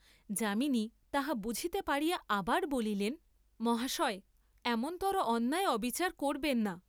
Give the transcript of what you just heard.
যামিনী তাহা বুঝিতে পারিয়া আবার বলিলেন, মহাশয়, এমনতর অন্যায় অবিচার করবেন না।